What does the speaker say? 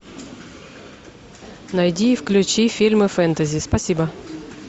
найди и включи фильмы фэнтези спасибо